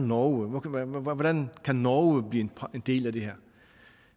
norge hvordan kan norge blive en del af det her